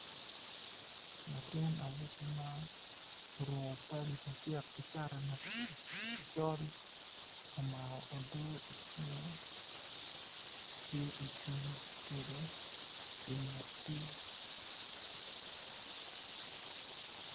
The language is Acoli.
Latin awobi ma oruko pale macek ki cati macol omako odo icinge tye ocung kede i nget pi.